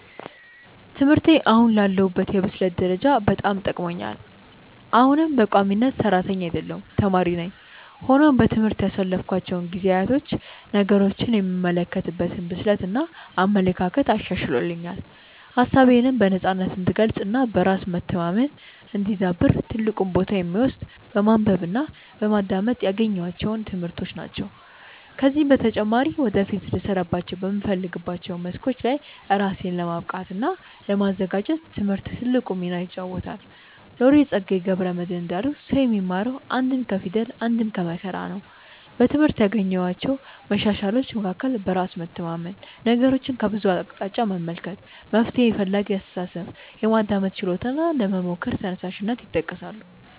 ትምህርቴ አሁን ላለሁበት የብስለት ደረጃ በጣም ጠቅሞኛል። አሁንም በቋሚነት ሰራተኛ አይደለሁም ተማሪ ነኝ። ሆኖም በትምህርት ያሳለፍኳቸው ጊዜያት ነገሮችን የምመለከትበትን ብስለት እና አመለካከት አሻሽሎልኛል። ሀሳቤነም በነፃነት እንድገልፅ እና በራስ መተማመኔ እንዲዳብር ትልቁን ቦታ የሚወስደው በማንበብ እና በማዳመጥ ያገኘኋቸው ትምህርቶች ናቸው። ከዚህም በተጨማሪ ወደፊት ልሰራባቸው በምፈልጋቸው መስኮች ላይ ራሴን ለማብቃት እና ለማዘጋጀት ትምህርት ትልቁን ሚና ይጫወታል። ሎሬት ፀጋዬ ገብረ መድህን እንዳሉት "ሰው የሚማረው አንድም ከፊደል አንድም ከመከራ ነው"።በትምህርት ካገኘኋቸው መሻሻሎች መካከል በራስ መተማመን፣ ነገሮችን ከብዙ አቅጣጫ መመልከት፣ መፍትሔ ፈላጊ አስተሳሰብ፣ የማዳመጥ ችሎታ እና ለመሞከር ተነሳሽነት ይጠቀሳሉ።